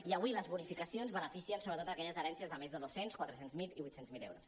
i avui les bonificacions beneficien sobretot aquelles herències de més de dos cents quatre cents miler i vuit cents miler euros